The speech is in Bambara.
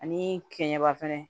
Ani kɛɲɛba fɛnɛ